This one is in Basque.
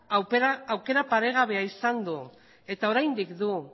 aukera paregabea izan du eta oraindik du